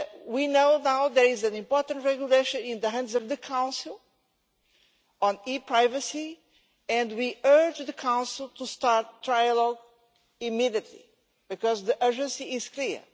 We know now there is an important regulation in the hands of the Council on e-privacy, and we urge the Council to start a trilogue immediately, because the urgency is clear.